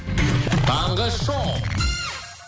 таңғы шоу